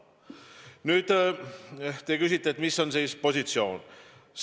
Nüüd, te küsite, mis on valitsuse positsioon.